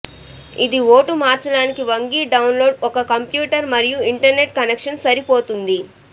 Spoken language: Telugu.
ఇది ఓటు మార్చడానికి వంగి డౌన్లోడ్ ఒక కంప్యూటర్ మరియు ఇంటర్నెట్ కనెక్షన్ సరిపోతుంది